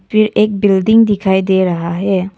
फिर एक बिल्डिंग दिखाई दे रहा है।